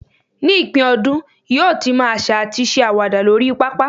ní ipin ọdún, yíò tí mo asa ati se awada lori papa